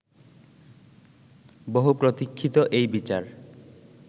বহু প্রতীক্ষিত এই বিচার